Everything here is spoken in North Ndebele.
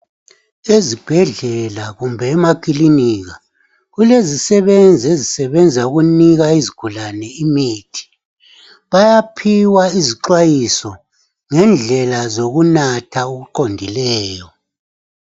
Ezibhedlela kumbe emakilinika kulezisebenzi ezisebenza ukunika izigulane imithi bayaphiwa izixwayiso ngendlela zokunatha okuqondileyo.